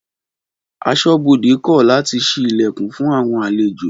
Aṣọ́bodè kọ làtí sìí Ìlẹ̀kùn fún àwọn àlẹjò